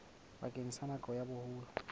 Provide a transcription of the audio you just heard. bakeng sa nako ya boholo